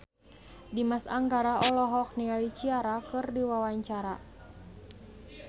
Dimas Anggara olohok ningali Ciara keur diwawancara